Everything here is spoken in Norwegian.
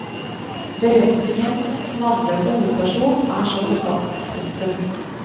Beretningens navnløse hovedperson er som besatt. punktum